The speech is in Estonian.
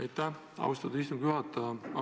Aitäh austatud istungi juhataja!